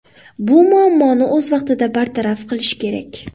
Bu muammoni o‘z vaqtida bartaraf qilish kerak.